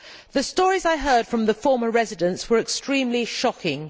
The stories I heard from the former residents were extremely shocking.